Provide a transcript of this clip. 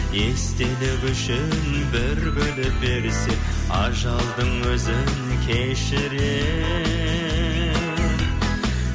естелік үшін бір гүлін берсе ажалдың өзі кешірер